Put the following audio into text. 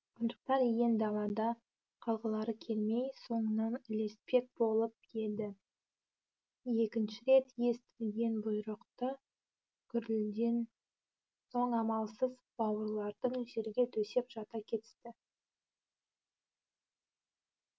қонжықтар иен далада қалғылары келмей соңынан ілеспек болып еді екінші рет естілген бұйрықты гүрілден соң амалсыз бауырларды жерге төсеп жата кетісті